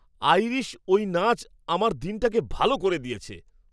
Irish ওই নাচ আমার দিনটাকে ভালো করে দিয়েছে।